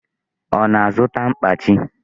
Ọ na-azụta mkpachi?